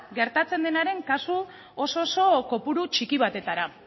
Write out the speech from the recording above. gertatzen denaren kasu oso oso kopuru txiki batetara